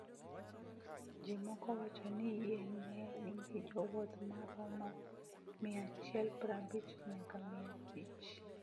"""Ji moko wacho ni yie ne nigi jowuoth ma romo miaachielprabich nyaka mia abich."